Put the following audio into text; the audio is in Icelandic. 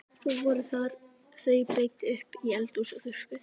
Svo voru þau breidd upp í eldhús og þurrkuð.